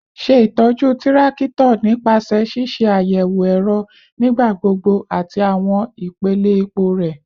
Ṣe itọju tirakito nipasẹ ṣiṣe ayẹwo ẹrọ nigbagbogbo ati awọn ipele epo rẹ